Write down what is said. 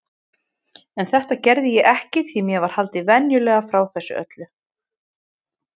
En þetta gerði ég ekki því mér var haldið vandlega frá þessu öllu.